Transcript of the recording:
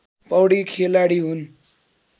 पौडी खेलाडी हुन्